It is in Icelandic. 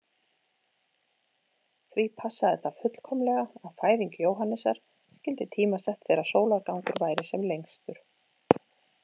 Því passaði það fullkomlega að fæðing Jóhannesar skyldi tímasett þegar sólargangur væri sem lengstur.